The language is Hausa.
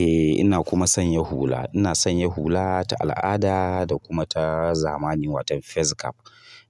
Eh ina kuma sanya hula. Ina sanya hula ta al'ada da kuma ta zamani watan face cap.